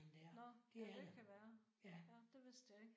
Nåh. Ja det kan være. Det vidste jeg ikke